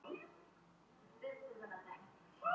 Hvönn, hvenær kemur leið númer þrjátíu og níu?